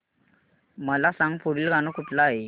मला सांग पुढील गाणं कुठलं आहे